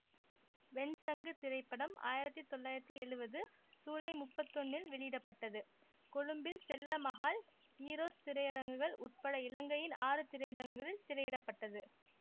வெண்சங்கு திரைப்படம் ஆயிரத்தி தொள்ளாயிரத்தி எழுவது சூலை முப்பத்தி ஒன்றில் வெளியிட பட்டது கொழும்பில் செல்லமஹால் ஈரோஸ் திரையரங்குகள் உட்பட இலங்கையின் ஆறு திரையரங்குகளில் திரையிட பட்டது